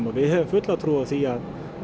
og við höfum fulla trú á því